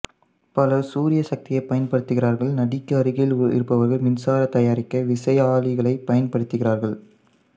பலர் சூரிய சக்தியைப் பயன்படுத்துகிறார்கள் நதிக்கு அருகில் இருப்பவர்கள் மின்சாரம் தயாரிக்க விசையாழிகளைப் பயன்படுத்துகிறார்கள்